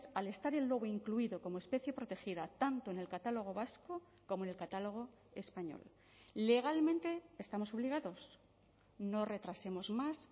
al estar el lobo incluido como especie protegida tanto en el catálogo vasco como en el catálogo español legalmente estamos obligados no retrasemos más